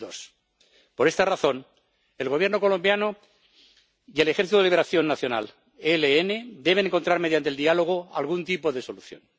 2002. Por esta razón, el Gobierno colombiano y el Ejército de Liberación Nacional deben encontrar mediante el diálogo algún tipo de solución.